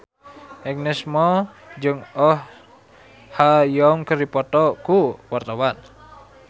Agnes Mo jeung Oh Ha Young keur dipoto ku wartawan